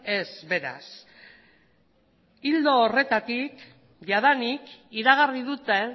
ez beraz ildo horretatik jadanik iragarri dute